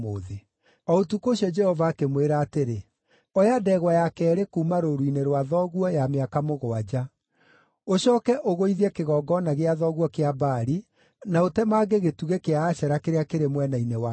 O ũtukũ ũcio Jehova akĩmwĩra atĩrĩ, “Oya ndegwa ya keerĩ kuuma rũũru-inĩ rwa thoguo ya mĩaka mũgwanja. Ũcooke ũgũithie kĩgongona gĩa thoguo kĩa Baali, na ũtemange gĩtugĩ kĩa Ashera kĩrĩa kĩrĩ mwena-inĩ wakĩo.